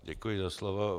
Děkuji za slovo.